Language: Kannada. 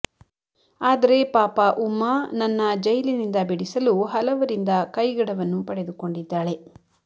ಅದರೆ ಪಾಪ ಉಮ್ಮ ನನ್ನ ಜೈಲಿನಿಂದ ಬಿಡಿಸಲು ಹಲವರಿಂದ ಕೈಗಡವನ್ನು ಪಡೆದುಕೊಂಡಿದ್ದಾಳೆ